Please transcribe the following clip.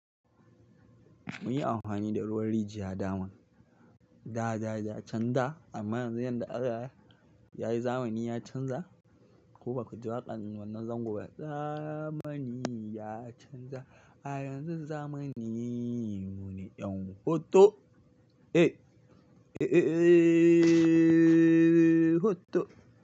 Mun yi amhwani da ruwan rijiya daman. Da da chan da amma yanzu yadda Allah yayi zamani ya canza. Ko baku ji waƙan wannan zango ba? Zamani ya canza a yanzu zamani mune ƴan hoto. Eh, eh, eh, ehhhhh hoto.